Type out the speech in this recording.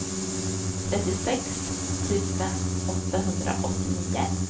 trettiosex tusen åttahundraåttionio